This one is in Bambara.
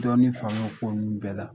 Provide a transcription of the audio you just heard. Dɔɔnin faamuya o ko nunnu bɛɛ la